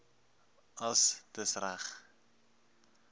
dis dis reg